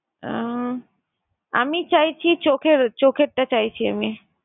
আহ আমি চাইছি চোখের, চোখেরটা চাইছি আমি।